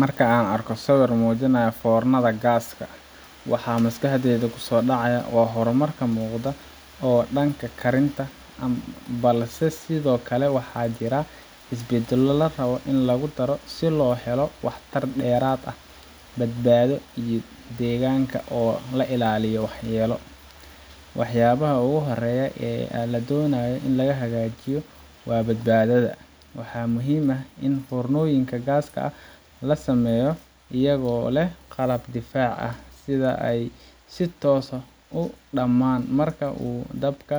Marka aan arko sawir muujinaya foornada gaaska waxa maskaxdayda ku soo dhacaya horumar muuqda oo dhanka karinta ah, balse sidoo kale waxaa jira isbeddello la rabay in lagu daro si loo helo waxtar dheeraad ah, badbaado iyo deegaanka oo laga ilaaliyo waxyeello. Waxyaabaha ugu horreeya ee la doonayo in la hagaajiyo waa badbaadada. Waxaa muhiim ah in foornooyinka gaaska la sameeyo iyagoo leh qalab difaac ah, sida in ay si toos ah u dammaan marka uu dabka